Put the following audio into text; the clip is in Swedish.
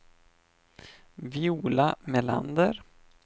Viola Melander